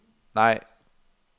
nej